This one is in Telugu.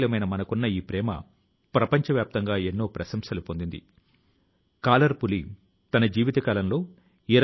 సహచరులారా ప్రస్తుతం భారతీయ సంస్కృతి ని గురించి తెలుసుకోవాలనే ఆసక్తి ప్రపంచం లో పెరుగుతున్నది